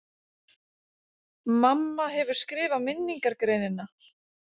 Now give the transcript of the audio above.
MAMMA HEFUR SKRIFAÐ MINNINGARGREININA!